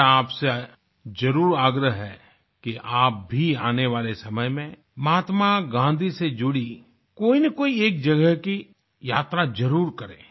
मेरा आपसे जरूर आग्रह है कि आप भी आने वाले समय में महात्मा गाँधी से जुड़ी कोईनकोई एक जगह की यात्रा जरूर करें